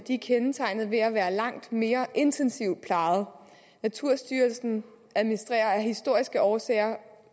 kendtegnet ved at være langt mere intensivt plejet naturstyrelsen administrerer af historiske årsager